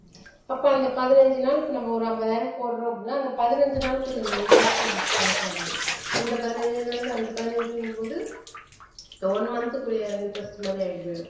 அப்ப அந்த பதினஞ்சு நாள் இப்ப நம்ம ஒரு ஐம்பதாயிரம் போடறோம் அப்படின்னா அந்த பதினஞ்சு நாளுக்குரிய அந்த interest நமக்கு கணக்கு வராது இந்த பதினஞ்சு இதுல இருந்து அந்த பதினஞ்சுங்கும்போது இந்த one month க்குரிய அது interest மாதிரி